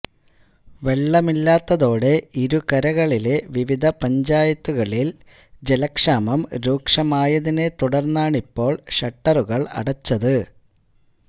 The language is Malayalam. വെള്ളമില്ലാത്തതോടെ ഇരുകരളിലെ വിവിധ പഞ്ചായത്തുകളിൽ ജലക്ഷാമം രൂക്ഷമായതിനെ തുടർന്നാണിപ്പോൾ ഷട്ടറുകൾ അടച്ചത്